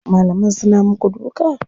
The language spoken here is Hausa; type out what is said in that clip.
Malaman suna muku duka?